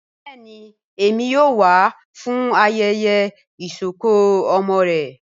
Bẹẹni Emi yoo wa fun ayẹyẹ isọkọ ọmọ rẹ.